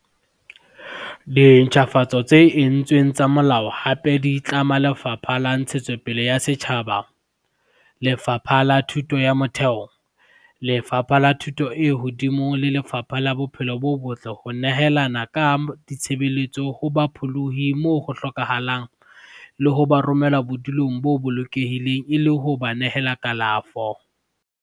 Dintjhafatso tse entsweng tsa molao hape di tlama Lefapha la Ntshetsopele ya Setjhaba, Lefapha la Thuto ya Motheo, Lefapha la Thuto e Hodimo le Lefapha la Bophelo bo Botle ho nehelana ka ditshebeletso ho bapholohi moo ho hlokahalang le ho ba romela bodulong bo bolokehileng le ho ba nehela kalafo.